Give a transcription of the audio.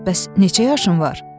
Bəs neçə yaşın var?